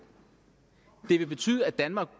det ville betyde at danmark